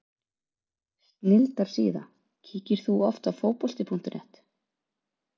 Snilldar síða Kíkir þú oft á Fótbolti.net?